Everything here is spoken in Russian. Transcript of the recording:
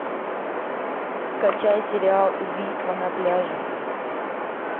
скачай сериал убийство на пляже